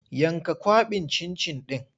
Yanka kwaɓin cin-cin ɗin!